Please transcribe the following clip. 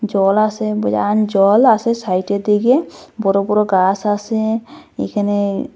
জল আসে বিরান জল আসে সাইটের দিকে বড় বড় গাস আসে এইখানে--